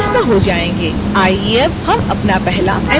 आइए अब हम अपना पहला animation शुरू करते हैं